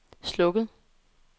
slukket